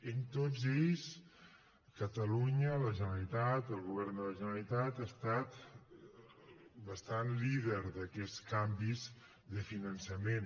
en tots ells catalunya la generalitat el govern de la generalitat ha estat bastant líder d’aquests canvis de finançament